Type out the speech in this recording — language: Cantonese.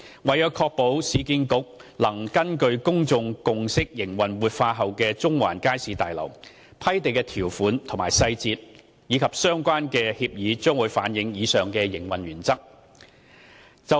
為確保市建局能根據公眾共識營運活化後的中環街市大樓，批地條款細節及相關協議將反映以上營運原則。